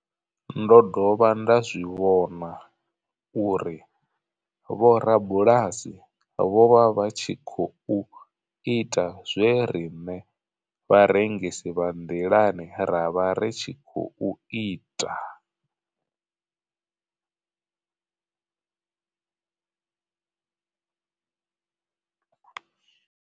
Ndo dovha nda zwi vhona uri vhorabulasi vho vha vha tshi khou ita zwe riṋe vharengisi vha nḓilani ra vha ri tshi khou ita.